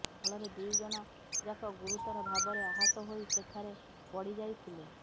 ଫଳରେ ଦୁଇ ଜଣ ଯାକ ଗୁରୁତର ଭାବରେ ଆହତ ହୋଇ ସେଠାରେ ପଡିଯାଇଥିଲେ